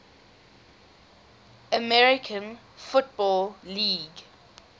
american football league